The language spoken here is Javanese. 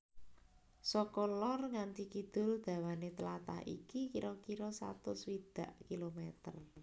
Saka lor nganti kidul dawané tlatah iki kira kira satus swidak kilometer